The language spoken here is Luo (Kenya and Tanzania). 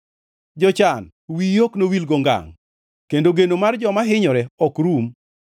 To jochan wiyi ok nowilgo ngangʼ kendo geno mar joma hinyore ok rum.